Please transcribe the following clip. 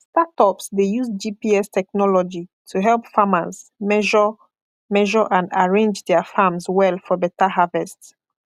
startups dey use gps technology to help farmers measure measure and arrange dia farms well for better harvest